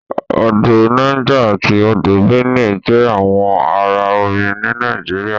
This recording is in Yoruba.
Odò Niger ati Odò Benue jẹ àwọn àrà omí ní Nàìjíríà.